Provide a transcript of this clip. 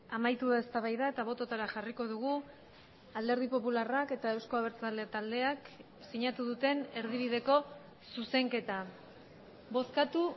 amaitu da eztabaida eta bototara jarriko dugu alderdi popularrak eta eusko abertzale taldeak sinatu duten erdibideko zuzenketa bozkatu